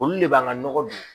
Olu de b'an ka nɔgɔ don